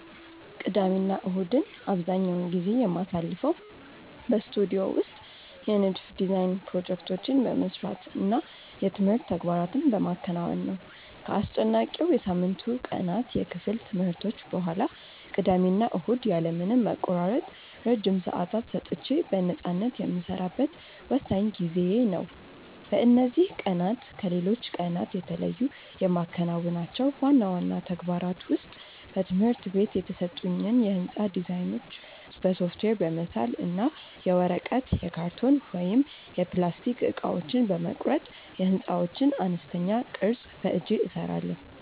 ቅዳሜና እሁድን አብዛኛውን ጊዜ የማሳልፈው በስቱዲዮ ውስጥ የንድፍ (Design) ፕሮጀክቶቼን በመስራት እና የትምህርት ተግባራትን በማከናወን ነው። ከአስጨናቂው የሳምንቱ ቀናት የክፍል ትምህርቶች በኋላ፣ ቅዳሜና እሁድ ያለ ምንም መቆራረጥ ረጅም ሰዓታት ሰጥቼ በነፃነት የምሰራበት ወሳኝ ጊዜዬ ነው። በእነዚህ ቀናት ከሌሎች ቀናት የተለዩ የማከናውናቸው ዋና ዋና ተግባራት ውስጥ በትምህርት ቤት የተሰጡኝን የሕንፃ ዲዛይኖች በሶፍትዌር በመሳል እና የወረቀት፣ የካርቶን ወይም የፕላስቲክ እቃዎችን በመቁረጥ የሕንፃዎችን አነስተኛ ቅርፅ በእጄ እሰራለሁ።